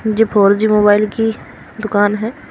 ये four G mobile की दुकान है।